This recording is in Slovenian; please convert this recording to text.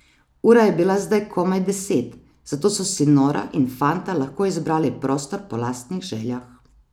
Ura je bila zdaj komaj deset, zato so si Nora in fanta lahko izbrali prostor po lastnih željah.